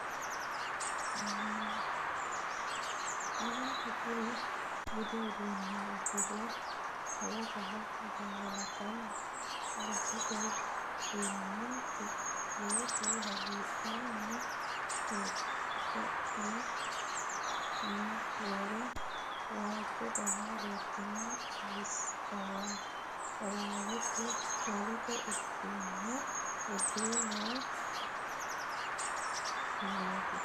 Meentu kuri budu uduune udire xawoho gangalottote baseta lamenti callotu hagiidhanni xexeqani ni roore waajjo dana roortino xiwawete udano udire no kuneti